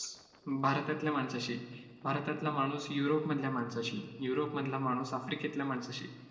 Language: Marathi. भारतातल्या माणसाशी, भारतातला माणूस युरोपमधल्या माणसाशी, युरोपमधला माणूस आफ्रिकेतल्या माणसाशी